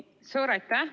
Suur aitäh!